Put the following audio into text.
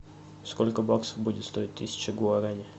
сколько баксов будет стоить тысяча гуараней